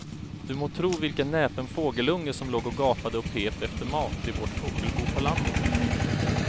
Du må tro vilken näpen fågelunge som låg och gapade och pep efter mat i vårt fågelbo på landet.